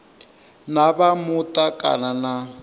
na vha muta kana na